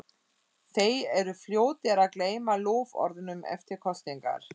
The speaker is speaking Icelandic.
Þeir eru fljótir að gleyma loforðunum eftir kosningar.